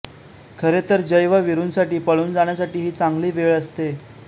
खरे तर जय व वीरूंसाठी पळून जाण्यासाठी ही चांगली वेळ असते